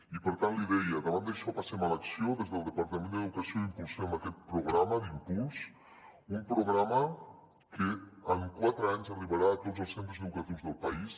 i per tant l’hi deia davant d’això passem a l’acció des del departament d’educació impulsem aquest programa d’impuls un programa que en quatre anys arribarà a tots els centres educatius del país